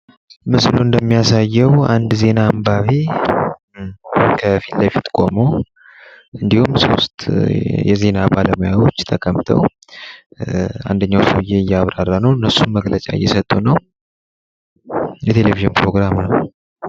ምስሉ እንደሚያሳየው አንድ ዜና አምባቢ ከፊት ለፊት ቆሞ እንዲሁም ሶስት የዜና ባለሙያዎች ተቀምጠው አንደኛ ሰወየ እያብራራ ነው። መግለጫ እየሰጡ ነው። የቴሌቪዥን ፕሮግራም ነው።